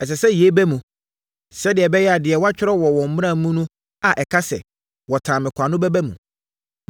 Ɛsɛ sɛ yei ba mu sɛdeɛ ɛbɛyɛ a deɛ wɔatwerɛ wɔ wɔn Mmara no mu a ɛka sɛ, ‘Wɔtan me kwa’ no bɛba mu.